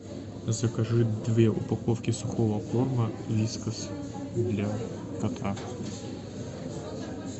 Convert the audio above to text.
закажи две упаковки сухого корма вискас для кота